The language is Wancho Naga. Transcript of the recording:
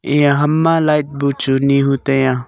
eya hamma light buchu nihu taiya.